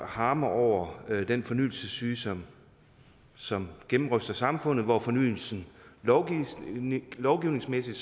harme over den fornyelsessyge som som gennemryster samfundet hvor fornyelsen lovgivningsmæssigt lovgivningsmæssigt